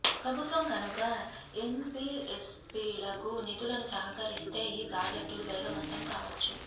ప్రభుత్వం కనుక ఎన్బీఎఫ్సీలకు నిధులను సమకూరిస్తే ఈ ప్రాజెక్టులు వేగవంతం కావచ్చు